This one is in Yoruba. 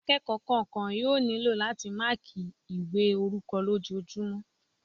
Akẹ́kọ̀ọ́ kọ̀ọ̀kan yóò nílò láti máàkí ìwé orúkọ lójojúmọ́